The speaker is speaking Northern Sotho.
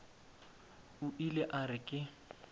o ile a re ke